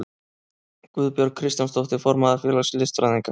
Guðbjörg Kristjánsdóttir, formaður félags listfræðinga.